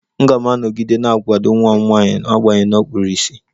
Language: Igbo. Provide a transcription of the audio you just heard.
M ga-anọgide na-akwado nwa m nwanyị n'agbanyeghị na ọ kpuru ìsì